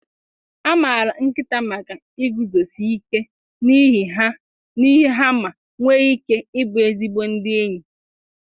A maara nkịta maka iguzosi ike n'ihe ha ma nwee ike ịbụ ezigbo ndị enyi.